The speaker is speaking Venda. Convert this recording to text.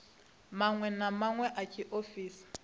maṅwe na maṅwe a tshiofisi